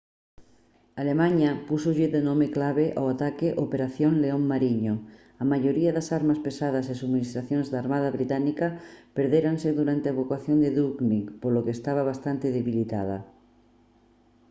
alemaña púxolle de nome clave ao ataque «operación león mariño». a maioría das armas pesadas e subministracións da armada británica perdéranse durante a evacuación de dunkirk polo que estaba bastante debilitada